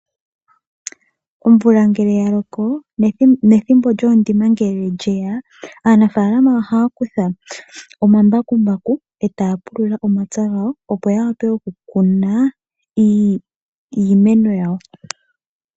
Omvula ngele ya loko nethimbo lyoondima ngele lyeya aanafaalama ohaya kutha omambakumbaku etaya pulula omapya gawo. Opo ya wape oku kuna iimeno yawo.